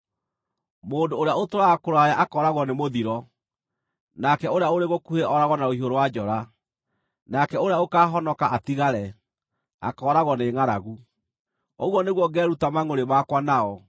Mũndũ ũrĩa ũtũũraga kũraya akooragwo nĩ mũthiro, nake ũrĩa ũrĩ gũkuhĩ ooragwo na rũhiũ rwa njora, nake ũrĩa ũkaahonoka atigare, akooragwo nĩ ngʼaragu. Ũguo nĩguo ngeeruta mangʼũrĩ makwa nao.